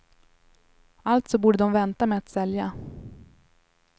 Alltså borde de vänta med att sälja.